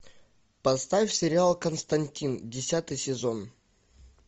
поставь сериал константин десятый сезон